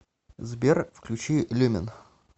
сбер включи люмен